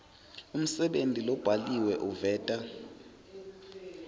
umsebenti lobhaliwe uveta